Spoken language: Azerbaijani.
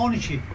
12.